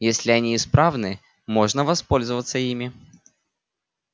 если они исправны можно воспользоваться ими